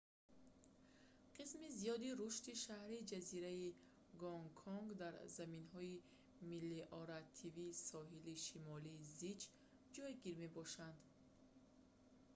қисми зиёди рушди шаҳри ҷазираи гонконг дар заминҳои мелиоративии соҳили шимолӣ зич ҷойгир мебошанд